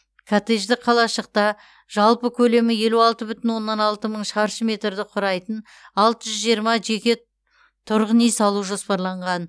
коттеджді қалашықта жалпы көлемі елу алты бүтін оннан алты мың шаршы метрді құрайтын алты жүз жиырма жеке тұрғын үй салу жоспарланған